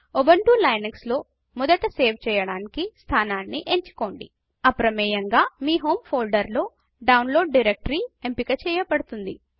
Ubuntu Linux లో మొదట save చేయడానికి స్థానాన్ని ఎంచుకోండిఅప్రమేయంగా మీ హోమ్ ఫోల్డర్ లో డౌన్లోడ్ డైరెక్టరీ ఎంపిక చెయ్యబడుతుంది